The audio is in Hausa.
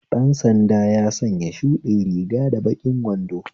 Dan sanda ya sanya shuɗin riga da baƙin wando